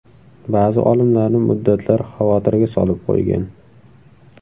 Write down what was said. Ba’zi olimlarni muddatlar xavotirga solib qo‘ygan.